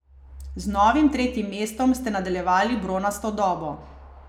Z novim tretjim mestom ste nadaljevali bronasto dobo.